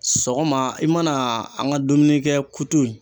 Sɔgɔma i mana an ka dumuni kɛ kutu in